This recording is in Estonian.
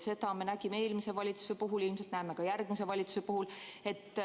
Seda me nägime eelmise valitsuse puhul, ilmselt näeme ka järgmise valitsuse puhul.